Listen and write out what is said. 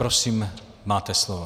Prosím, máte slovo.